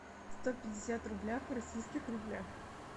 сто пятьдесят рублях в российских рублях